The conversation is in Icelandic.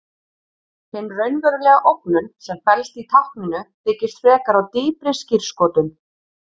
Hin raunverulega ógnun sem felst í tákninu byggist frekar á dýpri skírskotun.